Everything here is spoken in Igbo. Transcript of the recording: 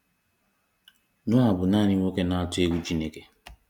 Noah bụ nanị nwoke na-atụ egwu Chineke.